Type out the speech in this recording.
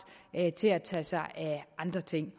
til at tage sig af andre ting